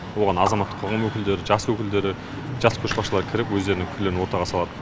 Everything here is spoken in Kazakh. оған азаматтық қоғам өкілдері жас өкілдері жас көшбасшылар кіріп өздерінің пікірлерін ортаға салады